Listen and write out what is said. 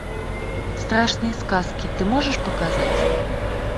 страшные сказки ты можешь показать